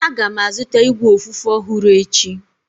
Aga m azụta igwe ofufe ọhụrụ echi.